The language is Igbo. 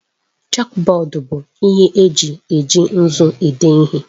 Chọkbọọdu bụ ihe eji eji nzu ede ihe.